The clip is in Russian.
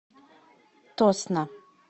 тосно